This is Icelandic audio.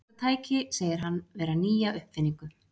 Þetta tæki segir hann vera nýja uppfinningu.